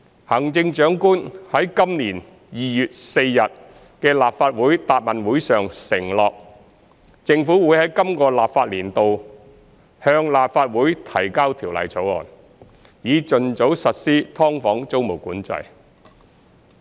行政長官在今年2月4日的立法會答問會上承諾，政府會在今個立法年度向立法會提交條例草案，以盡早實施"劏房"租務管制。